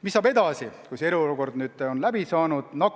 Mis saab edasi nüüd, kui eriolukord on läbi saanud?